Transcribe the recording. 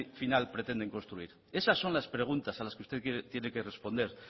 final pretenden construir esas son las preguntas a las que usted tiene que responder